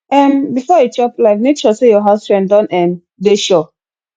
um before you chop life make sure say your house rent don um dey sure